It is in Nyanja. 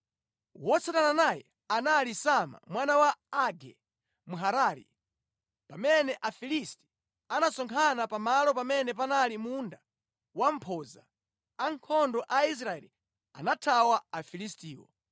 Wotsatana naye anali Sama mwana wa Age Mharari. Pamene Afilisti anasonkhana pamalo pamene panali munda wa mphodza, ankhondo a Israeli anathawa Afilistiwo.